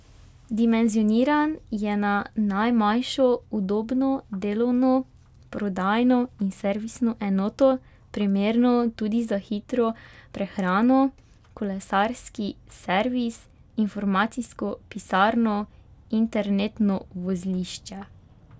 Dimenzioniran je na najmanjšo udobno delovno, prodajno in servisno enoto, primerno tudi za hitro prehrano, kolesarski servis, informacijsko pisarno, internetno vozlišče.